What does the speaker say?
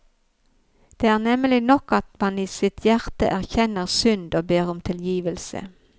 Det er nemlig nok at man i sitt hjerte erkjenner synd og ber om tilgivelse.